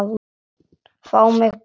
Fá mig bara hingað.